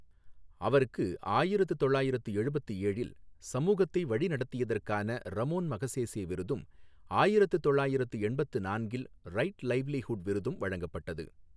அவருக்கு ஆயிரத்து தொள்ளாயிரத்து எழுபத்து ஏழில் சமூகத்தை வழிநடத்தியதற்கான ரமோன் மகசேசே விருதும், ஆயிரத்து தொள்ளாயிரத்து எண்பத்து நான்கில் ரைட் லைவ்லிஹுட் விருதும் வழங்கப்பட்டது.